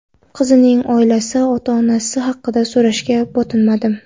Qizning oilasi, ota-onasi haqida so‘rashga botinmadim.